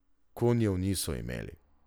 Konjev niso imeli.